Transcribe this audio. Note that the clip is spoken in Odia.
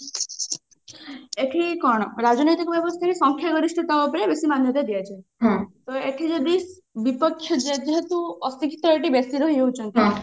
ଏଠି କଣ ରାଜନୈତିକ ବ୍ୟବସ୍ତାରେ ସଂଖ୍ୟା ଗରିଷ୍ଠତା ଉପରେ ବେଶୀ ଦିଆଯାଏ ଏଠି ଯଦି ବିପକ୍ଷ ଯେହେତୁ ଅଶିକ୍ଷିତ ଏଠି ବେଶୀ ରହି ଯାଉଛନ୍ତି